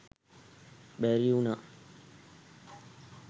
බැරි උනා.